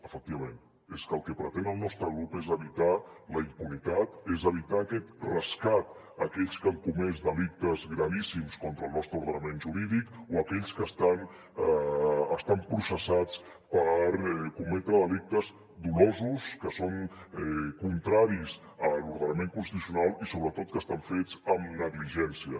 efectivament és que el que pretén el nostre grup és evitar la impunitat és evitar aquest rescat a aquells que han comès delictes gravíssims contra el nostre ordenament jurídic o a aquells que estan processats per cometre delictes dolosos que són contraris a l’ordenament constitucional i sobretot que estan fets amb negligència